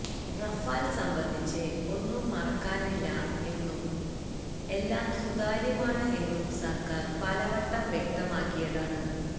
Rafale സംബന്ധിച്ച് ഒന്നും മറക്കാനില്ല എന്നും എല്ലാം സുതാര്യമാണ് എന്നും സര്ക്കാര് പലവട്ടം വ്യക്തമാക്കിയതാണ്